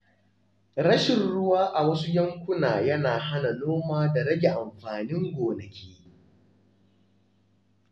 Rashin ruwa a wasu yankuna yana hana noma da rage amfanin gonaki.